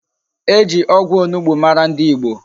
E ji ogwu onugbu mara ndi Igbo